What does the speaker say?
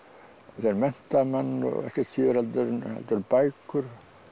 þeir mennta menn ekkert síður heldur en bækur